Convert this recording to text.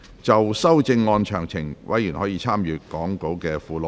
就修正案詳情，委員可參閱講稿附錄。